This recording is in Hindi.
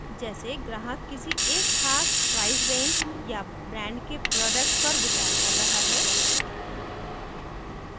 जैसे ग्राहक किसी एक खास प्राइस रेंज या ब्रांड के प्रोडक्ट्स पर विचार कर रहा है